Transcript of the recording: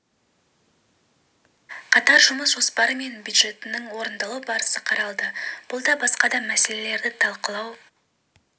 қатар жұмыс жоспары мен бюджетінің жж орындалу барысы қаралды бұл және басқа да мәселелерді талқылау